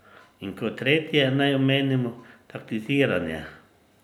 In kot tretje naj omenimo taktiziranje.